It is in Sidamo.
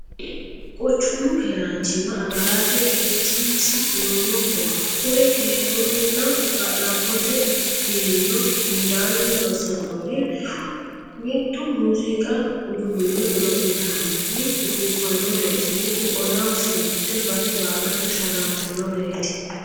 Quchumu keeranchima agarate qeechinsa lowoho kuri keerunna ga'labbote biiro hundanni loosanorihu, Mitu muziiqu uduune godo'littannj ufuufanoreti mitu ollaho fulte base baallate sharrantanoreti.